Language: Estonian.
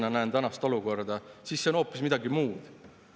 Selline meeltesegadus on noorte seas levinud rohkem, kui me tahaksime seda uskuda.